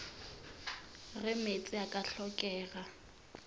ge meetse a ka hlokega